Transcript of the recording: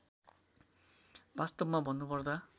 वास्तवमा भन्नुपर्दा